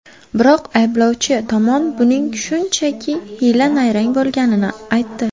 Biroq ayblovchi tomon buning shunchaki hiyla-nayrang bo‘lganini aytdi.